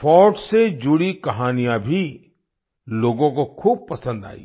forts से जुड़ी कहानियाँ भी लोगों को खूब पसंद आई